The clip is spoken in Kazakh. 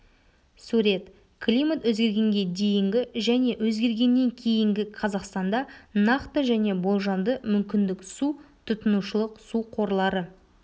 сурет климат өзгергенге дейінгі және өзгергеннен кейінгі қазақстанда нақты және болжамды мүмкіндік су тұтынушылық су қорлары